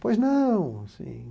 Pois não?, assim